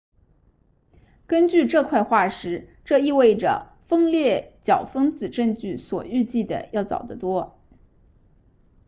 根据这块化石这意味着分裂较分子证据所预计的要早得多